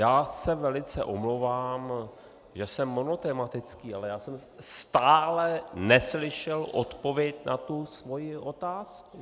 Já se velice omlouvám, že jsem monotematický, ale já jsem stále neslyšel odpověď na tu svoji otázku.